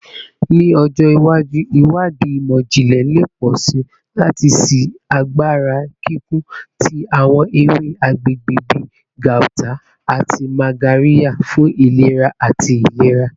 Ni ọjọ iwaju, iwadii imọ-jinlẹ le pọ si lati ṣii agbara kikun ti awọn ewe agbegbe bi gauta ati magarya fun ilera ati ilera